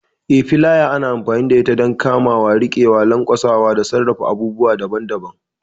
Eh, filaya ana amfani da ita don kamawa, riƙewa, lanƙwasa, da sarrafa abubuwa daban-daban.